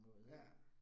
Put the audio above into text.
Ja